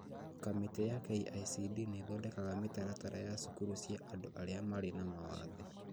Kamĩtĩ ya KICD nĩthondekaga mĩtaratara ya cukuru cia andũ aria mari na mawathe